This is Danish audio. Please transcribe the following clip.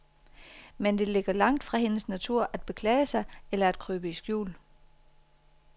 Men det ligger langt fra hendes natur at beklage sig eller at krybe i skjul.